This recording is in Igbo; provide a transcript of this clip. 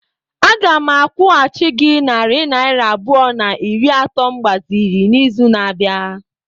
Aga m akwụghachi gị narị naira abụọ na iri atọ m gbaziri n'izu na-abịa.